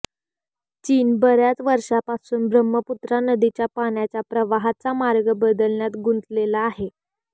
चीन बर्याच वर्षांपासून ब्रह्मपुत्रा नदीच्या पाण्याच्या प्रवाहाचा मार्ग बदलण्यात गुंतलेला आहे